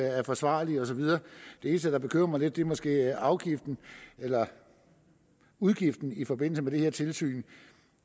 er forsvarlige og så videre det eneste der bekymrer mig lidt er måske afgiften eller udgiften i forbindelse med det her tilsyn